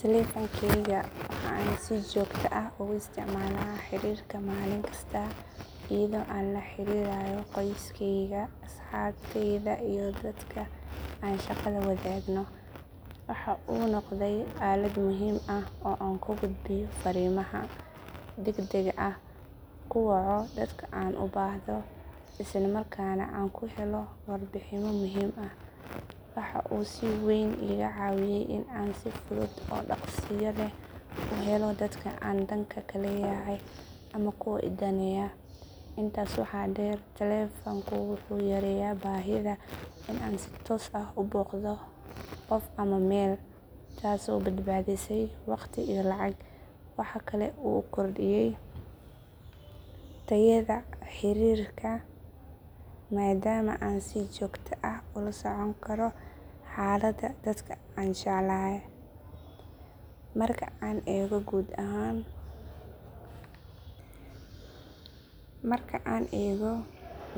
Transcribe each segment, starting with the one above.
Teleefankayga waxa aan si joogto ah ugu isticmaalaa xiriirka maalin kasta, iyadoo aan la xiriirayo qoyskeyga, asxaabteyda, iyo dadka aan shaqada wadaagno. Waxa uu noqday aalad muhiim ah oo aan ku gudbiyo fariimaha degdega ah, ku waco dadka aan u baahdo, isla markaana aan ku helo warbixinno muhiim ah. Waxa uu si weyn iiga caawiyay in aan si fudud oo dhaqsiyo leh u helo dadka aan dan ka leeyahay ama kuwa i daneeya. Intaas waxaa dheer, teleefanku wuxuu yareeyay baahida in aan si toos ah u booqdo qof ama meel, taasoo badbaadisay waqti iyo lacag. Waxa kale oo uu kordhiyay tayada xiriirka maadaama aan si joogto ah ula socon karo xaaladda dadka aan jecelahay. Marka aan eego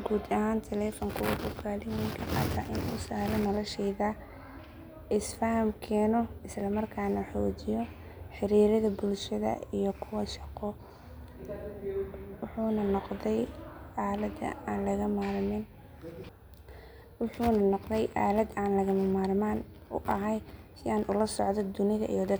guud ahaan, teleefanku wuxuu kaalin weyn ka qaatay in uu sahlo noloshayda, isfaham keeno, isla markaana xoojiyo xiriirrada bulshada iyo kuwa shaqo. Wuxuu noqday aalad aan lagama maarmaan u ahay si aan ula socdo dunida iyo dadkayga.